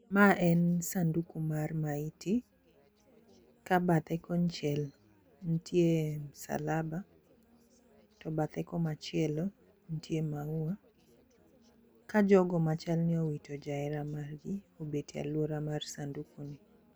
Ma en sanduku mar maiti ka bathe konchiel ntie msalaba to bathe komachielo ntie maua ka jogo machal ni owito jahere margi obet e aluora mag sanduku ni.